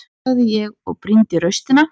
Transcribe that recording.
sagði ég og brýndi raustina.